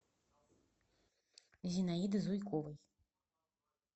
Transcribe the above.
зинаиды зуйковой